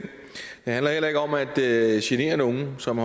det handler heller ikke om at at genere nogen som